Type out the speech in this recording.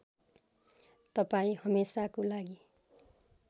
तपाईँ हमेसाको लागि